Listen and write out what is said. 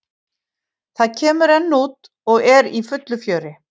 Það kemur enn út og er í fullu fjöri.